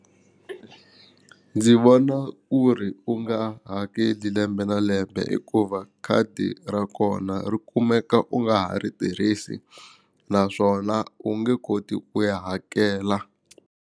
Ndzi vona ku ri u nga hakeli lembe na lembe hikuva khadi ra kona ri kumeka u nga ha ri tirhisi naswona u nge koti ku ya hakela.